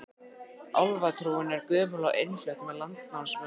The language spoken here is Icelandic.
Álfatrúin er gömul og innflutt með landnámsmönnum frá Noregi.